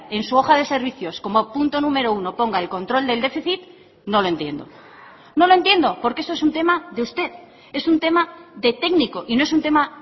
en su hoja de servicios como punto número uno ponga el control del déficit no lo entiendo no lo entiendo porque eso es un tema de usted es un tema de técnico y no es un tema